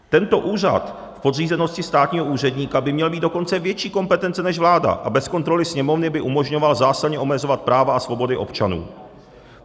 Tento úřad v podřízenosti státního úředníka by měl mít dokonce větší kompetence než vláda a bez kontroly Sněmovny by umožňoval zásadně omezovat práva a svobody občanů.